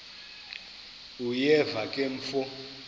uyeva ke mfo